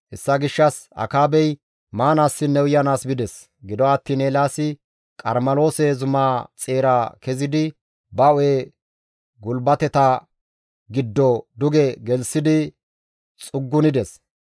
Hessa gishshas Akaabey maanaassinne uyanaas bides. Gido attiin Eelaasi Qarmeloose zumaa xeera kezidi ba hu7e gulbateta giddo duge gelththidi xuggunides.